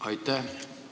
Aitäh!